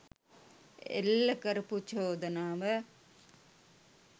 එල්ල කරපු චෝදනාව